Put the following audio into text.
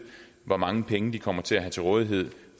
hvor mange penge de kommer til at have til rådighed